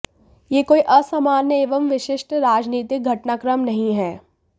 यह कोई असामान्य एवं विशिष्ट राजनीतिक घटनाक्रम नहीं है